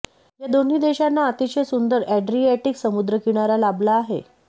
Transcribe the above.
या दोन्ही देशांना अतिशय सुंदर अॅड्रियाटिक समुद्रकिनारा लाभला आहे